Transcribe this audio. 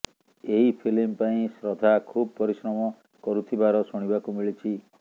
ଏହି ଫିଲ୍ମ ପାଇଁ ଶ୍ରଦ୍ଧା ଖୁବ୍ ପରିଶ୍ରମ କରୁଥିବାର ଶୁଣିବାକୁ ମିଳିଛି